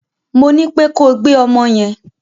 Mo ní pé kó gbé ọmọ yẹn!